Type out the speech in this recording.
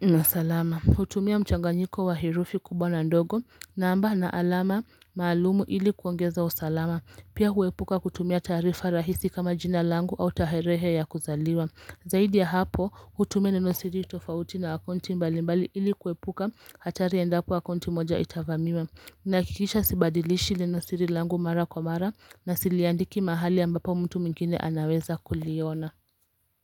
na salama. Hutumia mchanganyiko wa herufi kubwa na ndogo namba na alama maalumu ili kuongeza usalama. Pia huepuka kutumia taarifa rahisi kama jina langu au tarehe ya kuzaliwa. Zaidi ya hapo hutumia neno siri tofauti na akaunti mbalimbali ili kuepuka hatari endapo akaunti moja itavamiwa. Nahakikisha sibadilishi neno siri langu mara kwa mara na siliandiki mahali ambapo mtu mwingine anaweza kuliona.